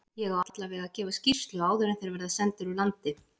Ég á allavega að gefa skýrslu áður en þeir verða sendir úr landi.